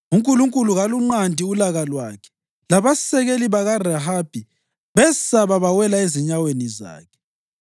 UNkulunkulu kalunqandi ulaka lwakhe; labasekeli bakaRahabi besaba bawela ezinyaweni zakhe.